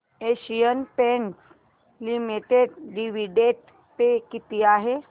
Asian Paints limited dividend pay किती आहे